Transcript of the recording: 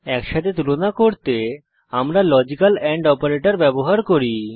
একসাথে তুলনা করতে আমরা লজিক্যাল এন্ড অপারেটর ব্যবহার করি